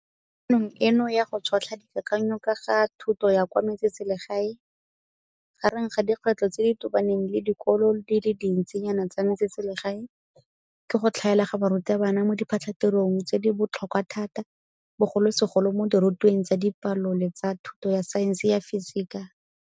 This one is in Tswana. Mo kopanong eno ya go tšhotlha dikakanyo ka ga thuto ya kwa metseselegae, gareng ga dikgwetlho tse di tobaneng le dikolo di le dintsinyana tsa metseselegae ke go tlhaela ga barutabana mo diphatlhatirong tse di botlhokwa thata bogolosegolo mo dirutweng tsa Dipalo le tsa thuto ya Saense ya Fisika.